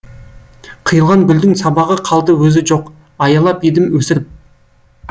қиылған гүлдің сабағы қалды өзі жоқ аялап едім өсіріп